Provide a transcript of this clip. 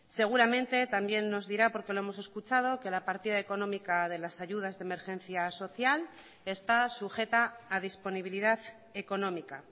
seguramente también nos dirá porque lo hemos escuchado que la partida económica de las ayudas de emergencia social está sujeta a disponibilidad económica